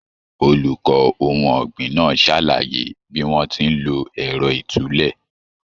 Olùkọ ohun ọgbin náà sàlàyé bí wọn ti n ló ẹrọ ìtúlẹ̀.